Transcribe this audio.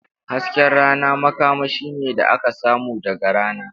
Hasken rana makamashi ne da aka samu daga rana.